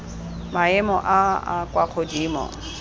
maemo a a kwa godimo